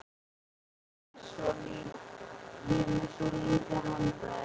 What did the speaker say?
Ég er með svolítið handa þér.